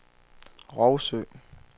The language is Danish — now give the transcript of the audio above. Rougsø